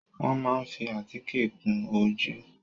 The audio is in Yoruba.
Wọ́n máa ń fi àtíkè kun ojú.